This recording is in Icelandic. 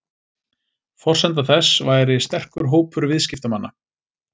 Forsenda þess væri sterkur hópur viðskiptamanna